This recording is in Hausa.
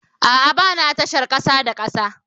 A'a, ba ni a tashar kasa da kasa